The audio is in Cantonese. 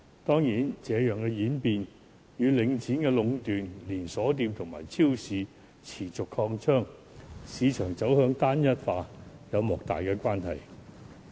當然，這樣的演變，與領展壟斷、連鎖店及超市持續擴張、市場走向單一化有莫大的關係。